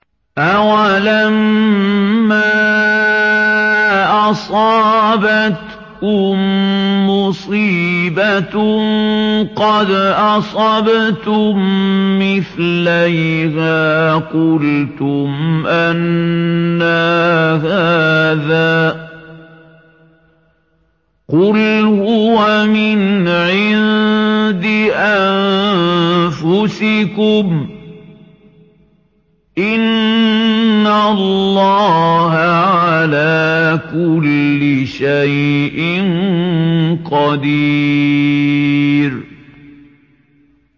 أَوَلَمَّا أَصَابَتْكُم مُّصِيبَةٌ قَدْ أَصَبْتُم مِّثْلَيْهَا قُلْتُمْ أَنَّىٰ هَٰذَا ۖ قُلْ هُوَ مِنْ عِندِ أَنفُسِكُمْ ۗ إِنَّ اللَّهَ عَلَىٰ كُلِّ شَيْءٍ قَدِيرٌ